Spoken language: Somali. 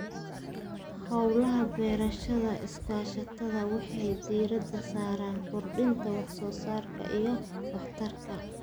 Hawlaha beerashada iskaashatada waxay diiradda saaraan kordhinta wax-soo-saarka iyo waxtarka.